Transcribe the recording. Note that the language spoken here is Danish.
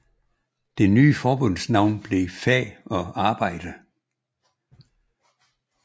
Det nye forbunds navn blev FAG og ARBEJDE